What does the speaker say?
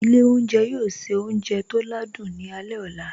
Ilé oúnjẹ yóò se oúnjẹ tó ládùn ní alẹ́ ọ̀la